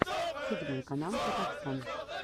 седьмой канал казахстн